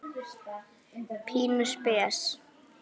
Pínu spes.